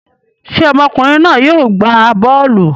Ṣé ọmọkùnrin náà yóò gbá bọ́ọ́lù?